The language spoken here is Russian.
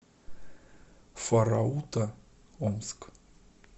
форауто омск